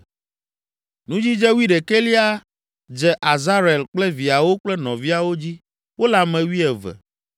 Nudzidze wuiɖekɛlia dze Azarel kple viawo kple nɔviawo dzi; wole ame wuieve.